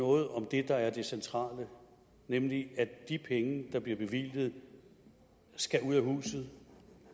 noget om det der er det centrale nemlig at de penge der bliver bevilget skal ud af huset